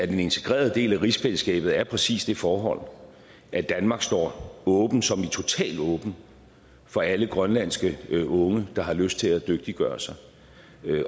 en integreret del af rigsfællesskabet er præcis det forhold at danmark står åbent som i totalt åbent for alle grønlandske unge der har lyst til at dygtiggøre sig